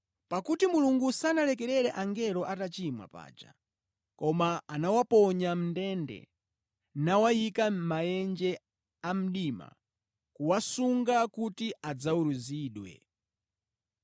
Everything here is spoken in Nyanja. Pakuti Mulungu sanalekerere angelo atachimwa paja, koma anawaponya mʼndende, nawayika mʼmaenje amdima, kuwasunga kuti adzaweruzidwe.